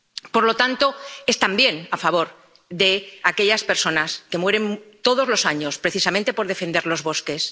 Por lo tanto, es también a favor de aquellas personas que mueren todos los años precisamente por defender los bosques.